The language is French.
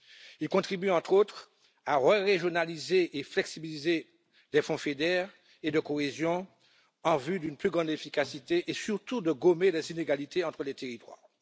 Il contribue, entre autres, à re régionaliser et à flexibiliser des fonds FEDER et de cohésion en vue d'une plus grande efficacité, et surtout à gommer les inégalités entre les territoires.